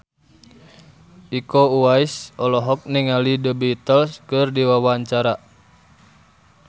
Iko Uwais olohok ningali The Beatles keur diwawancara